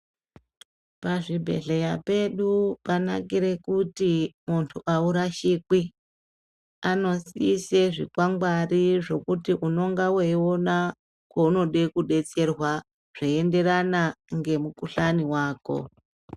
Pazvibhehleya pedu panakire kuti muntu aurashikwi. Anoise zvikwangwari zvokuti unonga weiona kwaunenge weida kudetserwa zzveienderana nemukuhlani wako.